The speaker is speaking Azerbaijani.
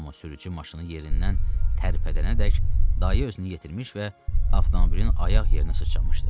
Amma sürücü maşını yerindən tərpədənədək dayə özünü yetirmiş və avtomobilin ayaq yerinə sıçlamışdı.